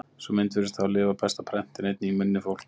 Sú mynd virðist hafa lifað best á prenti en einnig í munni fólks.